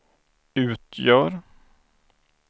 utgör